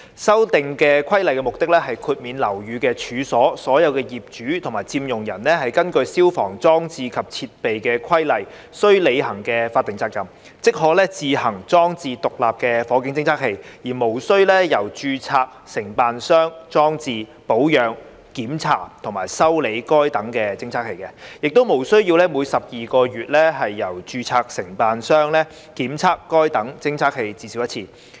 修訂規例的目的，是豁免樓宇及處所的所有業主及佔用人根據《消防規例》須履行的法定責任，即可自行裝置獨立火警偵測器，而無須由註冊承辦商裝置、保養、檢查或修理該等偵測器，亦無須每12個月由註冊承辦商檢測該等偵測器至少一次。